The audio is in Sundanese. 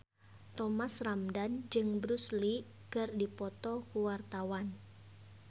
Thomas Ramdhan jeung Bruce Lee keur dipoto ku wartawan